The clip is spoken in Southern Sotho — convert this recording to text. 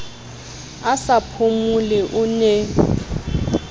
a sa phomole o ne